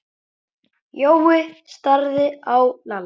Jói starði á Lalla.